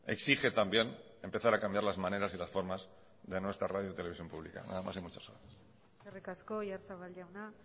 exige también empezar a cambiar las maneras y las formas de nuestra radio televisión pública nada más y muchas gracias eskerrik asko oyarzabal jauna